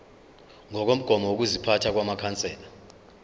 ngokomgomo wokuziphatha wamakhansela